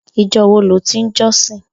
Ijò wó ló ti n jòsín